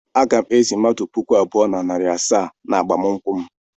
Aga m ezì mmadụ puku abụọ na narị asaa n'agbamakwụkwọ m.